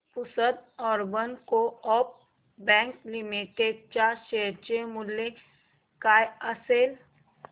Pusad urban coop bank limited च्या share चे मूल्य काय असेल